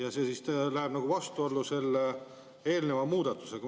Aga see läheb vastuollu selle eelneva muudatusega.